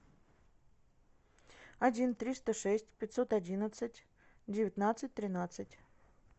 один триста шесть пятьсот одиннадцать девятнадцать тринадцать